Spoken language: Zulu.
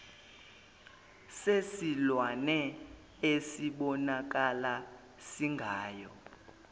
sesilwane esibonakala singayo